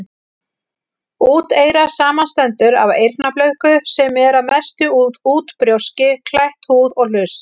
Úteyra samanstendur af eyrnablöðku, sem er að mestu út brjóski, klætt húð, og hlust.